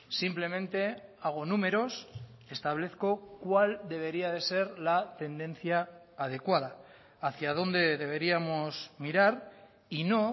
simplemente hago números establezco cuál debería de ser la tendencia adecuada hacia dónde deberíamos mirar y no